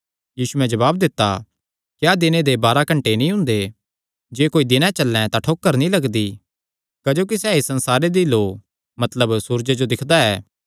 यीशुयैं जवाब दित्ता क्या दिने दे बाराह घंटे नीं हुंदे जे कोई दिने चल्लैं तां ठोकर नीं लगदी क्जोकि सैह़ इस संसारे दी लौ मतलब सूरजे जो दिक्खदा ऐ